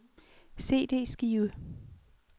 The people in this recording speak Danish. CD-skive